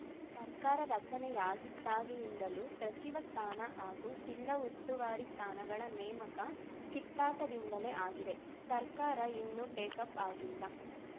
ಸರ್ಕಾರ ರಚನೆಯಾಗಿದ್ದಾಗಿನಿಂದಲೂ ಸಚಿವ ಸ್ಥಾನ ಹಾಗೂ ಜಿಲ್ಲಾ ಉಸ್ತುವಾರಿ ಸ್ಥಾನಗಳ ನೇಮಕ ಕಿತ್ತಾಟದಿಂದಲೇ ಆಗಿದೆ ಸರ್ಕಾರ ಇನ್ನೂ ಟೇಕಾಫ್‌ ಆಗಿಲ್ಲ